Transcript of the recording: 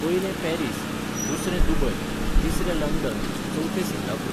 पयलें पॅरिस, दुसरें दुबय, तिसरें लंडन, चवथें सिंगापूर